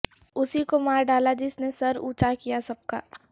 اسی کو مار ڈالا جس نے سر اونچا کیا سب کا